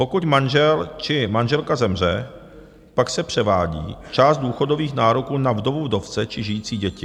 Pokud manžel či manželka zemře, pak se převádí část důchodových nároků na vdovu, vdovce či žijící děti.